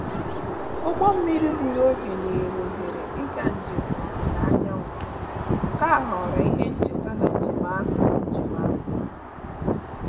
ụgbọ mmiri gburu oge nyere ohere ịga njem n`ọdịda anyanwụ nke ghọrọ ihe ncheta na njem ahu njem ahu